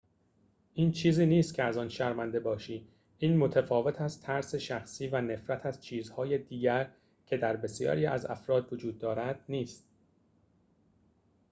این چیزی نیست که از آن شرمنده باشی این متفاوت از ترس شخصی و نفرت از چیزهای دیگر که در بسیاری از افراد وجود دارد نیست